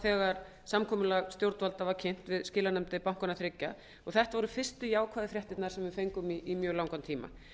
þegar samkomulag stjórnvalda var kynnt við skilanefndir bankanna þriggja þetta voru fyrstu jákvæðu fréttirnar sem við fengum í mjög langan tíma